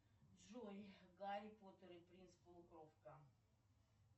джой гарри поттер и принц полукровка